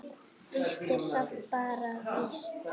Víti er samt bara víti.